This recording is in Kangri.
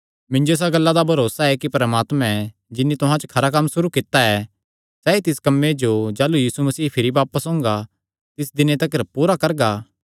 मिन्जो इसा गल्ला दा भरोसा ऐ कि परमात्मा जिन्नी तुहां च खरा कम्म सुरू कित्ता ऐ सैई तिस कम्मे जो जाह़लू यीशु मसीह भिरी बापस ओंगा तिस दिने तिकर पूरा करगा